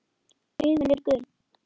Augun eru gul.